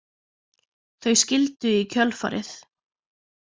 Þau skildu í kjölfarið